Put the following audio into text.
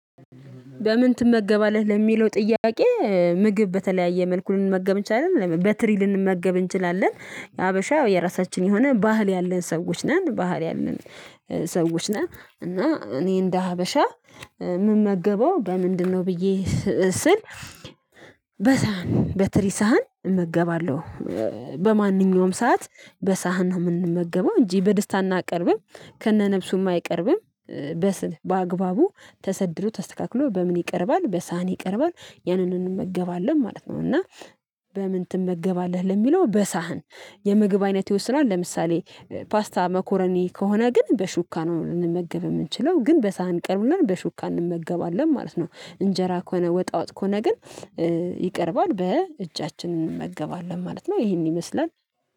በምን ትመገባለህ ለሚለው ጥያቄ ምግብ በተለያየ መልኩ ልንመገብ እንችላለን በትሪ ልንመገብ እንችላለን ሀበሻ የራሳችን የሆነ ባህል ያለን ሰዎች ነን ባህል ያለን ሰዎች ነን እና እኔ እንደ ሀበሻ ምመገበው በምንድነው ብዬ ስል? በሳህን በትሪ ሳህን እመገባለሁ በማንኛውም ሰዓት በሳህን ነው የምንመገበው እንጂ በደስታ አናቀርብም ከነነፍሱም አይቀርብም በስል በአግባቡ ተሰድሮ ተስተካክሎ በምን ይቀርባል በሳህን ይቀርባል ያንንን እንመገባለን ማለት ነው። እና በምን ትመገባለህ ለሚለው በሳህን የምግብ አይነት ይወስናል ለምሳሌ ፓስታ መኮረኒ ከሆነ ግን በሹካ ነው ልንመገብ የምንችለው ግን በሳህን ቀርብናል በሹካ እንመገባለን ማለት ነው። እንጀራ ከሆነ ወጣ ወጥ ከሆነ ግን ይቀርባል በእጃችን እንመገባለን ማለት ነው። ይሄን ይመስላል